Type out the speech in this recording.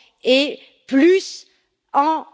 et plus en